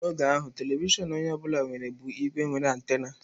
N'oge ahụ, telivishọn onye ọ bụla nwere bụ igbe nwere antena.